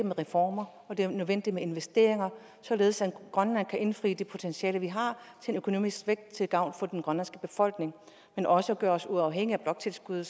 med reformer og det er nødvendigt med investeringer således at vi i grønland kan indfri det potentiale vi har til økonomisk vækst til gavn for den grønlandske befolkning men også gøre os uafhængige af bloktilskuddet